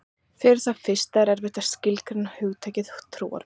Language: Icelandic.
Fyrir það fyrsta er erfitt að skilgreina hugtakið trúarbrögð.